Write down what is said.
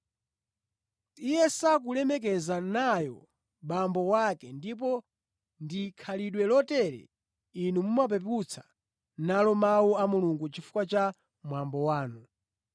iye sakulemekeza nayo abambo ake ndipo ndi khalidwe lotere inu mumapeputsa nalo Mawu a Mulungu chifukwa cha mwambo wanu.